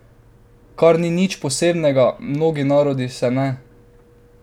Kar ni nič posebnega, mnogi narodi se ne!